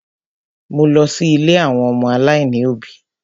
Mo lọ sí ilé àwọn ọmọ aláìní òbí.